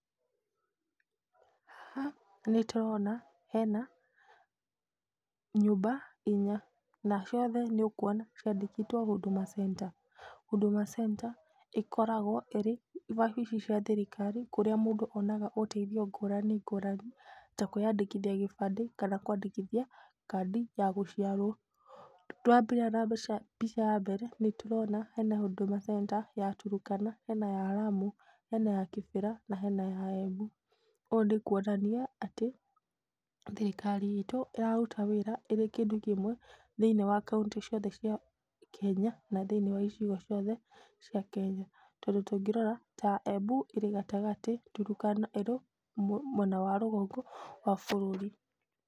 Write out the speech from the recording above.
Haha nĩ tũrona hena nyũmba inya na ciothe nĩ ũkuona ciandĩkĩtwo Hudũma Center, Huduma Center ikoragwo ĩrĩ wabici cia thirikari kũria mũndũ onaga ũteithio ngũrani ngũrani ta kũĩyandĩkithia gibandĩ kana kwandĩkithia kandi ya gũciarwo, twambĩrĩria na mbica ya mbere nĩ tũrona hena Huduma Center ya Tũrũkana, na hena ya ramu ,hena ya kĩbĩra na hena ya Embu, ũũ nĩ kuonania atĩ thirikari itũ ĩraruta wĩra ĩrĩ kĩndũ kĩmwe thĩinĩ wa kauntĩ ciothe cia Kenya na thĩinĩ wa icigo ciothe cia kenya tondũ tũngĩrora ta Embu ĩrĩ gatagatĩ, Turukana ĩrĩ mwena wa rũgongo wa bũrũri.